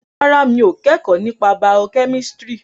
Rárá, mi ò kẹ́kọ̀ọ́ nípa bàọ́ kẹ́mísìrì